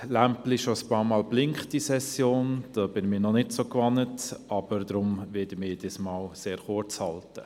Deshalb werde ich mich diesmal sehr kurz halten.